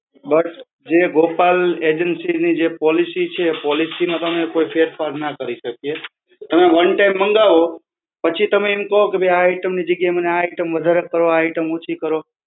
But જે Gopal agency ની જે policy છે, પોલિસીમાં તમે કોઈ ફેરફાર ના કરી શકીએ. તમે one time મંગાવો પછી તમે એમ કહો કે ભઈ આ item ની જગયાએ મને, આ item વધારે કરો, આ item છી કરો